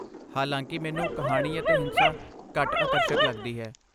ਹਾਲਾਂਕਿ, ਮੈਨੂੰ ਕਹਾਣੀ ਅਤੇ ਹਿੰਸਾ ਘੱਟ ਆਕਰਸ਼ਕ ਲੱਗਦੀ ਹੈ।